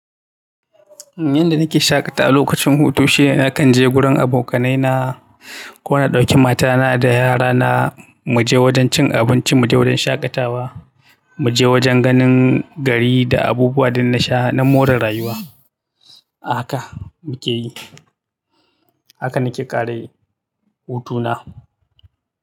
Yanda nake shaƙatawa lokacin hutu shine nakan je gurin abokanaina na ko na ɗauki matana da yara na mu je wajen cin abunci, mu je wajen shaƙatawa, mu je wajen ganin gari da abubuwa dun nasha na more rayuwa. Aka muke yi. Aka nake kare hutuna.